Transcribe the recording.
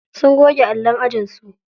Sun goge allon ajinsu.